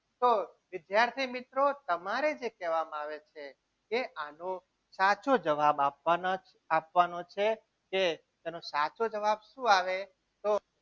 તો વિદ્યાર્થી મિત્રો તમારે જે કહેવામાં આવે છે. એ આનો સાચો જવાબ આપવાના આપવાનું છે કે તેનો સાચો જવાબ શું આવે તો